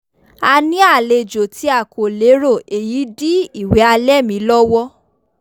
a ní àlejò tí a kò lérò èyí dí ìwẹ̀ alẹ́ mi lọ́wọ́